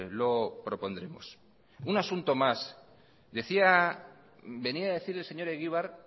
lo propondremos un asunto más venía a decir el señor egibar